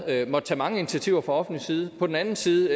måttet tage mange initiativer fra offentlig side og på den anden side